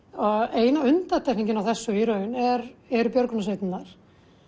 eina undantekningin á þessu í raun eru eru björgunarsveitirnar